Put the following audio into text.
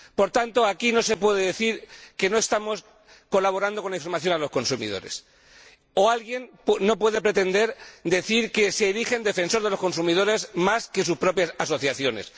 Por tanto, aquí no se puede decir que no estamos colaborando con la información a los consumidores ni nadie puede pretender decir que se erige en defensor de los consumidores más que sus propias asociaciones.